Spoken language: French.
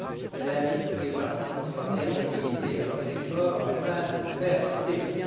Elle invite toutes les parties concernées à mobiliser leurs efforts afin de le faire cesser.